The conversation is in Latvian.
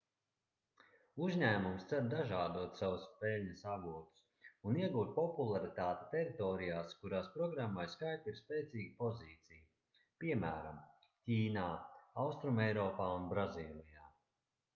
uzņēmums cer dažādot savus peļņas avotus un iegūt popularitāti teritorijās kurās programmai skype ir spēcīga pozīcija piemēram ķīnā austrumeiropā un brazīlijā